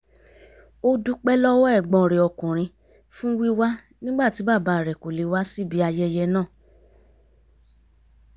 ó dúpẹ́ lọ́wọ́ ẹ̀gbọ́n rẹ̀ ọkùnrin fún wíwá nígbà tí bàbá rẹ̀ kò lè wá síbi ayẹyẹ náà